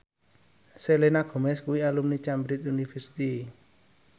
Selena Gomez kuwi alumni Cambridge University